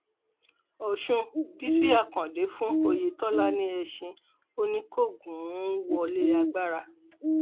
ọṣùn bísí àkàndé fún ọyẹtọlá ni ẹṣin ò ní kó gún un wọlé agbára